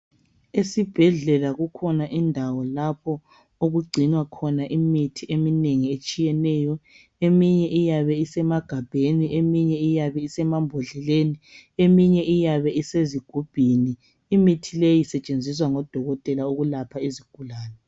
Esibhedlela kukhona indawo lapho okugcinwa khona imithi eminengi etshiyeneyo eminye iyabe isemagabheni eminye iyabe isemambodleleni eminye iyabe isezigubhini imithi leyo isetshenziswa ngodokotela ukulapha izigulane